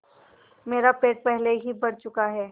मेरा पेट पहले ही भर चुका है